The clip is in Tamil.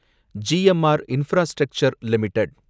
GMR infrastructure limited